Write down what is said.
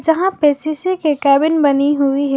यहां पे शीशे के केबिन बनी हुई है।